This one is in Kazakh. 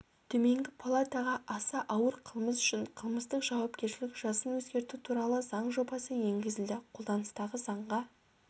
төменгі палатаға аса ауыр қылмыс үшін қылмыстық жауапкершілік жасын өзгерту туралы заң жобасы енгізілді қолданыстағы заңға